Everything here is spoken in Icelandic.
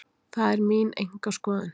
Það er mín einkaskoðun.